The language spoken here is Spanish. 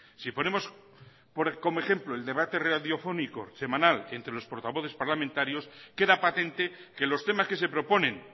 si ponemos como ejemplo el debate radiofónico semanal entre los portavoces parlamentarios queda patente que los temas que se proponen